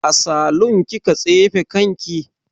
A salun kika tsefe kanki?